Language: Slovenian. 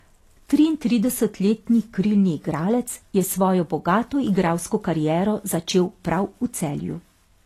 Triintridesetletni krilni igralec je svojo bogato igralsko kariero začel prav v Celju.